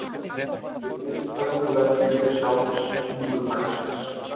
Um leið fellur verðgildi sjálfs tungutaksins